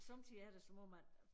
Sommetider er det som om at